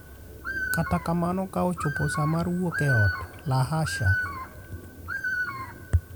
Kata kamano, ka ochopo sa mar wuok e ot, Lahasha!